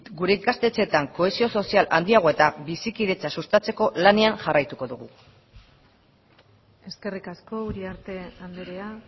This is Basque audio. gure ikastetxeetan kohesio sozial handiagoa eta bizikidetza sustatzeko lanean jarraituko dugu eskerrik asko uriarte andrea